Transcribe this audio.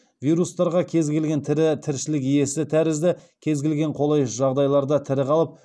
вирустарға кез келген тірі тіршілік иесі тәрізді кез келген қолайсыз жағдайларда тірі қалып